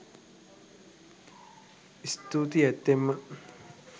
ස්තූතියි ඇත්තෙන්ම